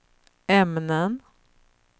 ämnen